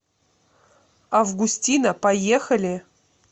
августина поехали